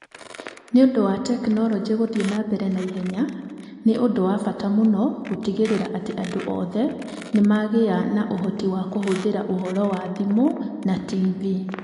Nĩ ũndũ wa tekinoronjĩ gũthiĩ na mbere na ihenya, nĩ ũndũ wa bata mũno gũtigĩrĩra atĩ andũ othe nĩ magĩaga na ũhoti wa kũhũthĩra ũhoro wa thimũ na TV.